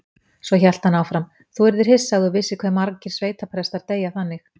Svo hélt hann áfram: Þú yrðir hissa ef þú vissir hve margir sveitaprestar deyja þannig.